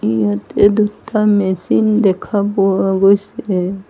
ইয়াতে দুটা মেচিন দেখা পোৱা গৈছে।